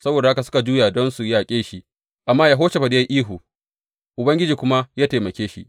Saboda haka suka juya don su yaƙe shi, amma Yehoshafat ya yi ihu, Ubangiji kuma ya taimake shi.